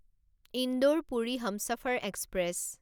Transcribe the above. Indore Puri Humsafar express